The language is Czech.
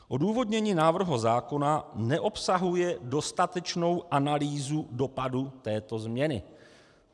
Odůvodnění návrhu zákona neobsahuje dostatečnou analýzu dopadu této změny.